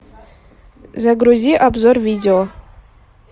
загрузи обзор видео